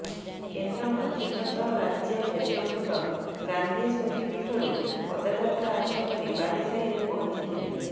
କେନ୍ଦ୍ର ମନ୍ତ୍ରୀଙ୍କ ସହ ରାଜ୍ୟ ନେତୃବୃନ୍ଦ ଗାନ୍ଧୀ ସ୍ମୃତି ପୀଠରୁ ପଦଯାତ୍ରା ଆରମ୍ଭ କରି ବାଲିସାହିରେ ପହଞ୍ଚିଥିଲେ